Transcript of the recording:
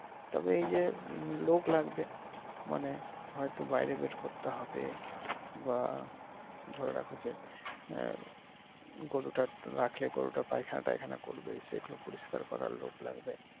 তবে এইযে লোক লাগবে মানে হয়তো বাহিরে বের করতে হবে বা ধরে রাখো যে গরুটা রাখলে গরুটা পায়খানা টায়খানা করবে সেগুলা পরিস্কার করার লোক লাগবে।